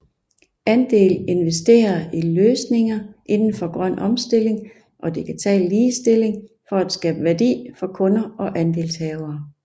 Andel investerer i løsninger indenfor grøn omstilling og digital ligestilling for at skabe værdi for kunder og andelshavere